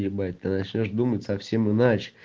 ебать ты начнёшь думать совсем иначе